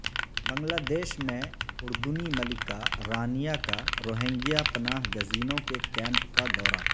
بنگلہ دیش میں اردنی ملکہ رانیا کا روہنگیا پناہ گزینوں کے کیمپ کا دورہ